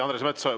Andres Metsoja.